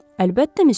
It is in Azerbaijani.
Əlbəttə misya.